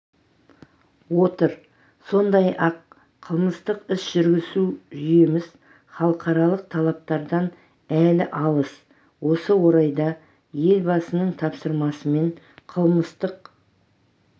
отыр сондай-ақ қылмыстық іс жүргізу жүйеміз халықаралық талаптардан әлі алыс осы орайда елбасының тапсырмасымен қылмыстық